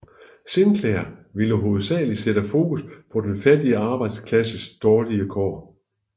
Sinclair ville hovedsagelig sætte fokus på den fattige arbejderklasses dårlige kår